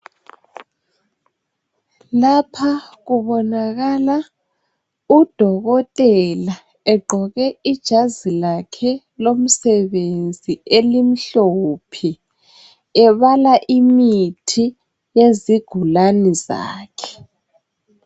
Lapha kubonakala udokotela egqoke ijazi lakhe lomsebenzi elimhlophe ebala imithi yezigulane zakhe.